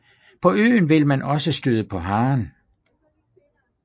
På øen vil man også støde på haren